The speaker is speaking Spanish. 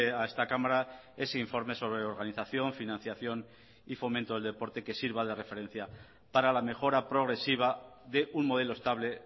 a esta cámara ese informe sobre organización financiación y fomento del deporte que sirva de referencia para la mejora progresiva de un modelo estable